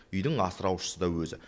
үйдің асыраушысы да өзі